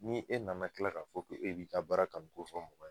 Ni e nana kila k'a fɔ k'e bi ka baara kanu ko fɔ mɔgɔ ye